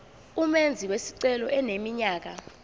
umenzi wesicelo eneminyaka